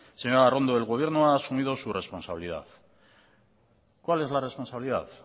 señora arrondo el gobierno ha asumido su responsabilidad cuál es la responsabilidad